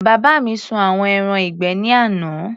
Bàbá mi sun àwọn ẹran ìgbẹ́ ní àná.